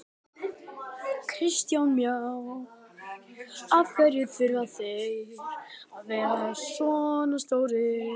Kristján Már: Af hverju þurfa þeir að vera svona stórir?